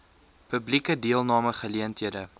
publieke deelname geleenthede